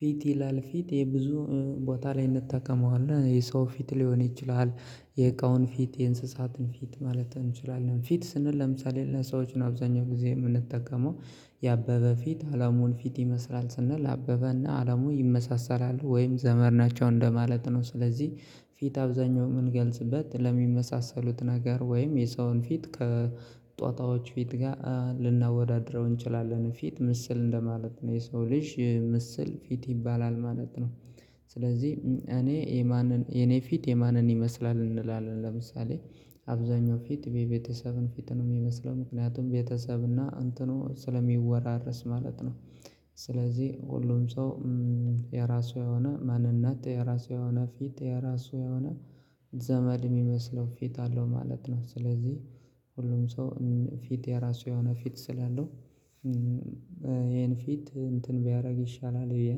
ፊት ይላል ፊት የብዙ ቦታ ላይ እንጠቀመዋለን የሰው ፊት ሊሆን ይችላል። የእቃውን ፊት የእንስሳትን ፊት ማለት እንችላለን ፊት ስንል ለምሳሌ ለሰዎች አብዛኛው ጊዜ የምንጠቀመው የአበበ ፊት አለሙን ፊት ይመስላል ስንል አበበና አለሙ ይመሳሰላሉ ወይም ዘመድ ናቸው እንደማለት ነው። ስለዚህ ፊት አብዛኛው ምን ገልጽበት ለሚመሳሰሉት ነገር ወይም የሰውን ፊት ከጦጣዎች ፊት ጋር ልናወዳድረው እንችላለን ፊት ምስል እንደማለት ነው የሰው ልጅ ምስል ፊት ይባላል ማለት ነው። ስለዚህ እኔ የማንን የኔ ፊት የማንን ይመስላል እንላለን ለምሳሌ አብዛኛው ፊት ቤተሰብን ፊት ነው የሚመስለው ምክንያቱም ቤተሰብ እና እንትኑ ስለሚወራረስ ማለት ስለዚህ ሁሉም ሰው የራሱ የሆነ ማንነት የራሱ የሆነ ፊት የራሱ የሆነ ዘመድ የሚመስለው ፊት አለው ማለት ነው። ስለዚህ ሁሉም ሰው ፊት የራሱ የሆነ ፊት ስላለው ይሄን ፊት እንትን ቢያደርግ ይሻላል ብየ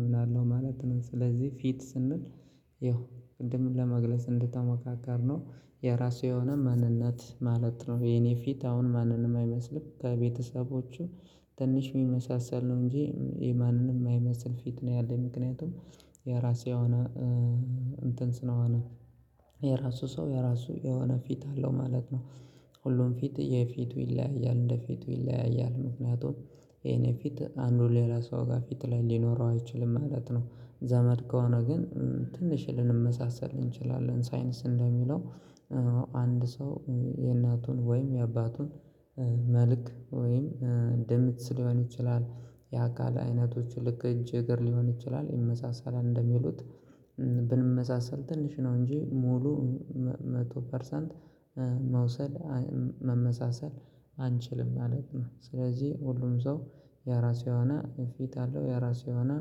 ኣምናለሁ ማለት ነው። ስለዚህ ፊት ስንል ይኸው ቅድምን ለመግለጽ እንደተሞካከርነው የራሱ የሆነ ማንነት ማለት ነው። የኔ ፊት አሁን ማንንም አይመስልም ከቤተሰቦቹ ትንሽ የሚመሳሰል ነው እንጂ የማንንም አይመስል ፊት ነው ያለው ምክንያቱም የራሴ አሁን እንትን ስለሆነ የራሱ ሰው የራሱ የሆነ ፊት አለው ማለት ነው። ሁሉም ፊት የፊቱ ይለያያል እንደፊቱ ይለያያል ነው ምክንያቱም ይሄን ፊት አንዱ ሌላ ሰው ጋር ፊት ላይ ሊኖረው አይችልም ማለት ነው። ዘመድ ከሆነ ግን ትንሽ ልንመሳሰል እንችላለን ሳይንስ እንደሚለው አንድ ሰው የእናቱን ወይም የአባቱን መልክ ወይም የሚመስል ሊሆን ይችላል የአካል አይነቶች ልክ እጅ እግር ሊሆን ይችላል ይመሳሰላል እንደሚሉት ብንመሳሰል ትንሽ ነው እንጂ ሙሉ መቶ ፐርሰንት መምሰል መመሳሰል አንችልም ማለት ነው። ስለዚህ ሁሉም ሰው ያራሴ የሆነ ፊት አለው ያራሴ የሆነ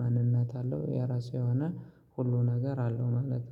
ማንነት አለው ያራሴ የሆነ ሁሉ ነገር አለው ማለት ነው